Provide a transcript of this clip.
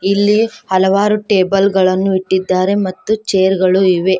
ಇಲ್ಲಿ ಹಲವಾರು ಟೇಬಲ್ ಗಳನ್ನು ಇಟ್ಟಿದ್ದಾರೆ ಮತ್ತು ಚೇರ್ ಗಳು ಇವೆ.